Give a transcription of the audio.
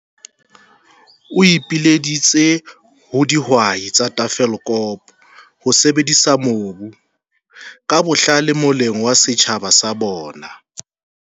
O ipileditse ho dihwai tsa Tafelkop ho sebedisa mobu ka bohlale moleng wa setjhaba sa bona.